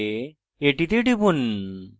এটিতে টিপুন